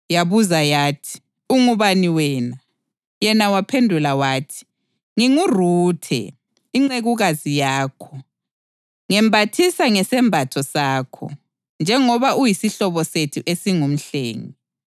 Yabuza yathi, “Ungubani wena?” Yena waphendula wathi, “NginguRuthe, incekukazi yakho. Ngembathisa ngesembatho sakho, njengoba uyisihlobo sethu esingumhlengi.”